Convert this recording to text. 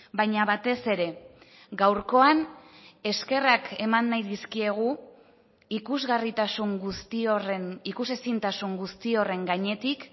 baina batez ere gaurkoan eskerrak eman nahi dizkiegu ikusgarritasun guzti horren ikus ezintasun guzti horren gainetik